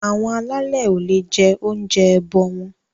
Àwọn alálè o le jẹ oúnjẹ ẹbọ wọn.